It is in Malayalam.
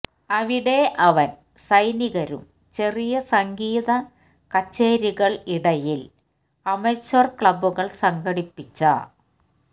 അവിടെ അവൻ സൈനികരും ചെറിയ സംഗീതകച്ചേരികൾ ഇടയിൽ അമച്വർ ക്ലബ്ബുകൾ സംഘടിപ്പിച്ച